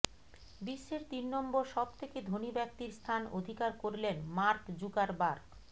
বিশ্বের তিন নম্বর সবথেকে ধনী ব্যাক্তির স্থান অধিকার করলেন মার্ক জুকারবার্গ